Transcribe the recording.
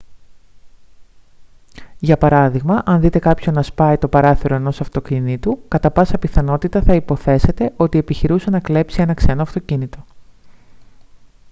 για παράδειγμα αν δείτε κάποιον να σπάει το παράθυρο ενός αυτοκινήτου κατά πάσα πιθανότητα θα υποθέσετε ότι επιχειρούσε να κλέψει ένα ξένο αυτοκίνητο